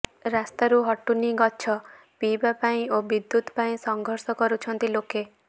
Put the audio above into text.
ରାସ୍ତାରୁ ହଟୁନି ଗଛ ପିଇବା ପାଣି ଓ ବିଦ୍ୟୁତ୍ ପାଇଁ ସଂଘର୍ଷ କରୁଛନ୍ତି ଲୋକେ